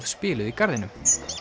spiluð í garðinum